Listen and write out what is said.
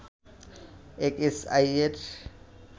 এক এস আইয়ের